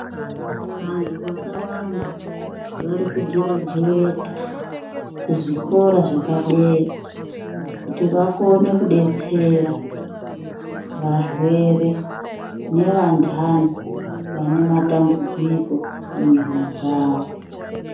Vantu vakawanda varikugirajuweta muzvikora zvepadera kuti vakone kudetsera varwere nevantani vanematambudziko munyama dzavo.